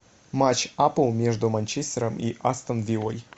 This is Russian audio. матч апл между манчестером и астон виллой